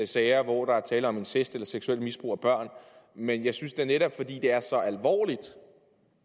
sager hvor der er tale om incest eller seksuelt misbrug af børn men jeg synes da at netop fordi det